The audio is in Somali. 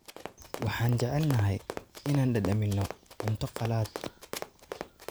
Waxaan jecelnahay inaan dhadhaminno cunto qalaad.